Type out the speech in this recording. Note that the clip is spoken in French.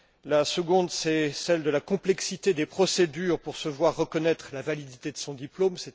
La deuxième, c'est celle de la complexité des procédures à suivre pour se voir reconnaître la validité de son diplôme.